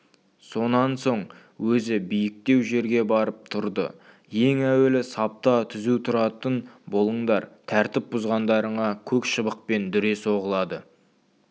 сонан соң өзі биіктеу жерге барып тұрды ең әуелі сапта түзу тұратын болыңдар тәртіп бұзғандарыңа көк шыбықпен дүре соғылады